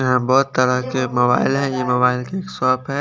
यहाँ तरह के मोबाइल है ये मोबाईल कि शॉप है।